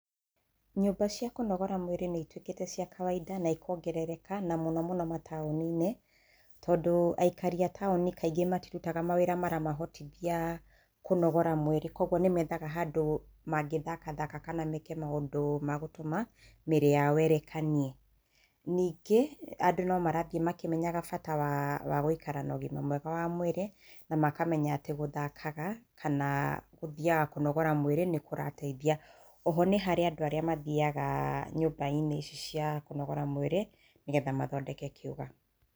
Nyũmba cia kũnogora mwĩrĩ nĩ ituĩkĩte cia kawainda na ikongerereka, na mũno mũno mataũni-ini. Tondũ aikari a taũni kaingĩ matirutaga mawĩra maramahotithia kũnogora mwĩrĩ, kũoguo nĩ meethaga handũ mangĩthakathaka kana meeke maũndu ma gũtũma mĩĩrĩ yao ĩrekanie. Ningĩ andũ no marathiĩ makĩmenyaga bata wa, wa gũikara na ũgima mwega wa mwĩri na makamenya atĩ gũthakaga kana, gũthiaga kũnogora mwĩrĩ nĩ kũrateithia. O ho nĩ harĩ andũ arĩa mathiaga nyũmba-inĩ ici cia kũnogora mwĩrĩ nĩgetha mathondeke kĩũga.